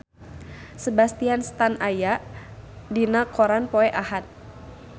Sebastian Stan aya dina koran poe Ahad